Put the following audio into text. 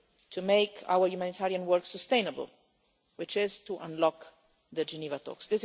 only way to make our humanitarian work sustainable, which is to unlock the Geneva